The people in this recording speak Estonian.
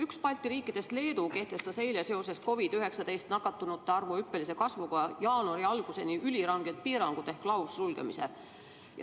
Üks Balti riikidest, Leedu, kehtestas eile seoses COVID-19 nakatunute arvu hüppelise kasvuga jaanuari alguseni üliranged piirangud ehk laussulgemise.